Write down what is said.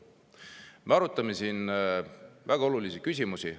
Me arutame siin väga olulisi küsimusi.